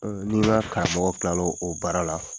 Ni na karamɔgɔ kilala o baara la,